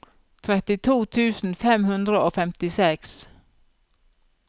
trettito tusen fem hundre og femtiseks